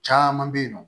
Caman bɛ yen nɔ